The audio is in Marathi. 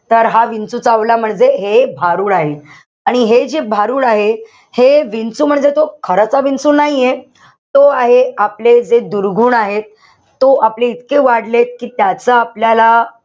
तर हा विंचू चावला मध्ये हे भारूड आहे. आणि हे जे भारूड आहे हे विंचू म्हणजे तो खरा विंचू नाहीये. तो आहे आपले ते दुर्गुण आहे. तो आपले इतके वाढलेत कि त्याचा आपल्याला,